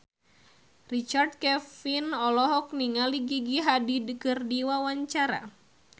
Richard Kevin olohok ningali Gigi Hadid keur diwawancara